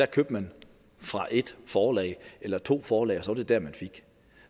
købte fra et forlag eller to forlag og det det man fik